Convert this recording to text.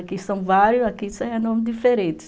Aqui são vários, aqui são nomes diferentes.